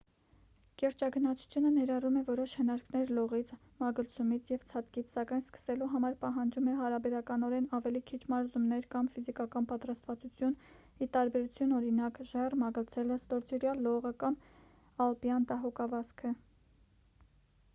կիրճագնացությունը ներառում է որոշ հնարքներ լողից մագլցումից և ցատկից սակայն սկսելու համար պահանջում է հարաբերականորեն ավելի քիչ մարզումներ կամ ֆիզիկական պատրաստվածություն ի տարբերություն օրինակ՝ ժայռ մագլցելը ստորջրյա լողը կամ ալպյան դահուկավազքը: